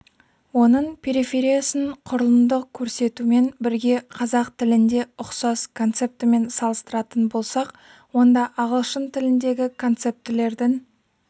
оның перифериясын құрылымдық көрсетумен бірге қазақ тілінде ұқсас концептімен салыстыратын болсақ онда ағылшын тіліндегі концептілердің